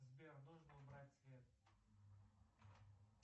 сбер нужно убрать свет